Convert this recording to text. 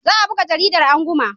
Za a buga jarida anguma.